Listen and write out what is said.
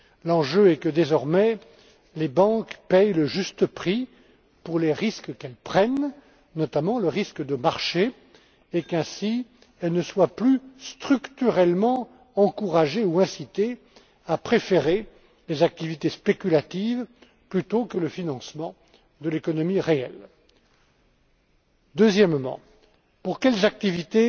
L'enjeu est que, désormais, les banques paient le juste prix pour les risques qu'elles prennent notamment le risque de marché et qu'ainsi, elles ne soient plus structurellement encouragées ou incitées à préférer les activités spéculatives au financement de l'économie réelle. Deuxièmement, pour quelles activités